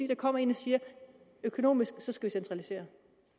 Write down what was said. der kommer en og siger økonomisk så skal vi centralisere